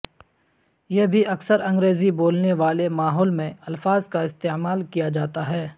یہ بھی اکثر انگریزی بولنے والے ماحول میں الفاظ کا استعمال کیا جاتا ہے